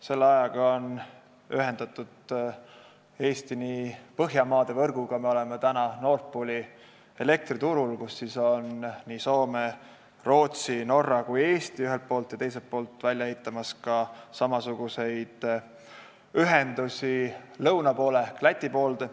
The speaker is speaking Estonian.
Selle aja jooksul on Eesti ühendatud Põhjamaade võrguga, me oleme ühelt poolt Nord Pooli elektriturul, kus on nii Soome, Rootsi ja Norra kui ka Eesti, teiselt poolt ehitame välja samasuguseid ühendusi lõuna suunas ehk Läti suunas.